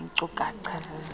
iinkcu kacha zezehlo